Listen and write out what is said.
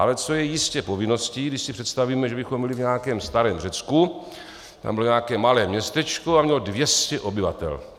Ale co je jistě povinností, když si představíme, že bychom byli v nějakém starém Řecku, tam bylo nějaké malé městečko a mělo 200 obyvatel.